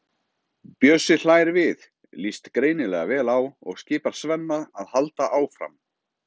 Bjössi hlær við, líst greinilega vel á og skipar Svenna að halda áfram.